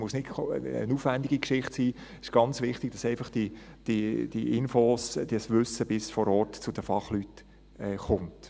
es muss nicht eine aufwendige Geschichte sein, es ist ganz wichtig, dass diese Infos, das Wissen bis zu den Fachleuten vor Ort kommt.